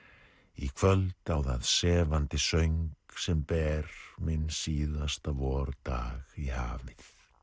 í kvöld á það sefandi söng sem ber minn síðasta vordag í hafið